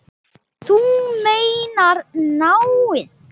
Þú meinar náið?